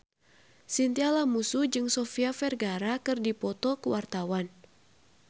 Chintya Lamusu jeung Sofia Vergara keur dipoto ku wartawan